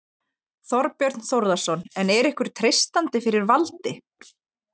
Þorbjörn Þórðarson: En er ykkur treystandi fyrir valdi?